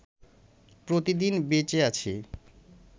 প্রতিদিন বেঁচে আছি